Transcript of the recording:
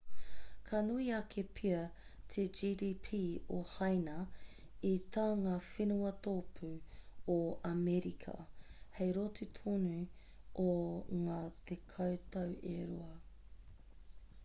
ka nui ake pea te gdp o haina i tā ngā whenua tōpū o amerika hei roto tonu i ngā tekau tau e rua